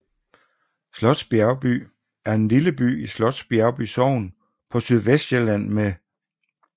Slots Bjergby er en lille by i Slots Bjergby Sogn på Sydvestsjælland med